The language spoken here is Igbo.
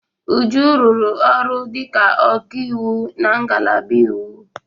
Uju rụrụ ọrụ dịka ọkaiwu na ngalaba iwu.